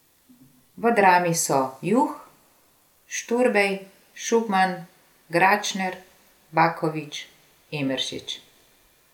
V Drami so Juh, Šturbej, Šugman, Gračner, Baković, Emeršič.